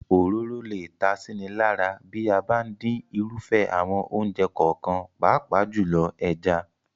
Òróró lè ta síni lára bí a bá ń dín irúfẹ́ àwọn oúnjẹ kọ̀ọ̀kan, pàápàá jùlọ, ẹja.